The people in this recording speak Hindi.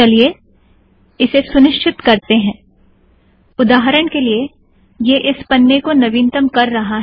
चलिए इसे सुनिश्चित करते हैं - उदाहरण के लिए यह इस पन्ने को नवीनतम कर रहा है